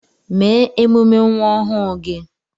Mee emume nwa ọhụụ gị